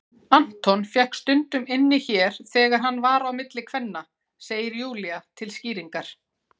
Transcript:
Anton fékk stundum inni hér þegar hann var á milli kvenna, segir Júlía til skýringar.